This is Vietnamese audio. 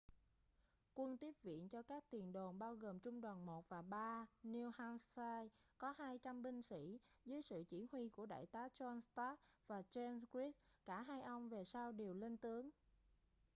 quân tiếp viện cho các tiền đồn bao gồm trung đoàn 1 và 3 new hampshire có 200 binh sĩ dưới sự chỉ huy của đại tá john stark và james reed cả hai ông về sau đều lên tướng